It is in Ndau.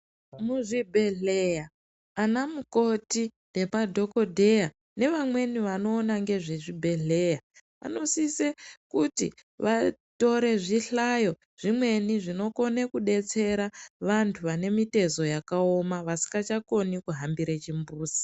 Muzvibhedhlera anamukoti nemadhokodheya nevamweni vanoona ngezvezvibhedhleya vanosise kuti vatore zvihlayo zvimweni zvinokone kubetsera vantu vanemitezo yakaoma vasingachakoni kuhambire chimbuzi.